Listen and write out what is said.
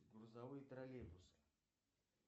грузовые троллейбусы